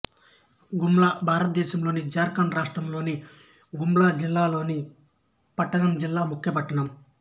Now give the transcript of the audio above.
గుమ్లా భారతదేశంలోని జార్ఖండ్ రాష్ట్రంలో గుమ్లా జిల్లా లోని పట్టణం జిల్లా ముఖ్యపట్టణం